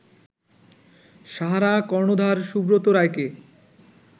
সাহারা কর্ণধার সুব্রত রায়কে